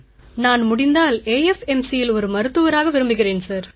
நான் முடிந்தால் AFMCயில் ஒரு மருத்துவராக விரும்புகிறேன் சார்